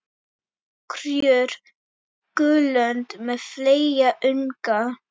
Kríur, gulönd með fleyga unga.